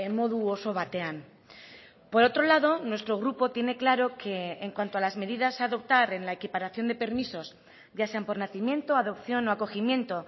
modu oso batean por otro lado nuestro grupo tiene claro que en cuanto a las medidas a adoptar en la equiparación de permisos ya sean por nacimiento adopción o acogimiento